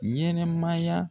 Ɲɛnɛmaya